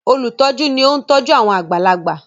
olutọju ní oun tọjú àwọn àgbàlagbà.